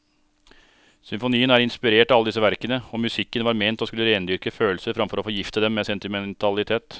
Symfonien er inspirert av alle disse verkene, og musikken var ment å skulle rendyrke følelser framfor å forgifte dem med sentimentalitet.